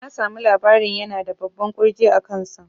Na samu labarin yana da babban ƙurji a kan sa